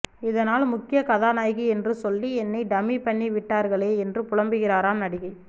இதனால் முக்கிய கதாநாயகி என்று சொல்லி என்னை டம்மி பண்ணி விட்டர்களே என்று புலம்புகிறாராம் நடிகை